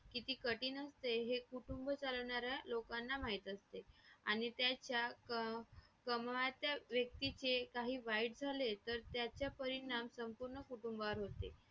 अशा वेगवेगळ्या topic मध्ये वेगवेगळे knowledge येतात आणि daily life मध्ये पण use होणारे knowledge भेटतात आपल्यांना आपण जे books knowledge भेटतातच भेटतात पण ते आपण Daily life मध्ये कसे use करून घेतात कसे helpful आपल्यालाहोतात.